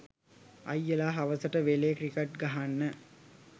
අයියලා හවසට වෙලේ ක්‍රිකට් ගහන්න